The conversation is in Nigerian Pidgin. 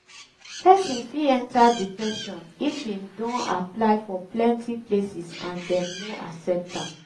persin fit enter depression if im don apply for plenty places and dem no accept am